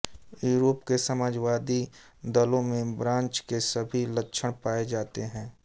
Europe के समाजवादी दलों में ब्रांच के सभी लक्षण पाये जाते हैं